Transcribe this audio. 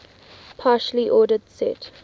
partially ordered set